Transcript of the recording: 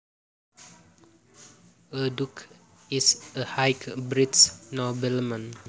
A duke is a high British nobleman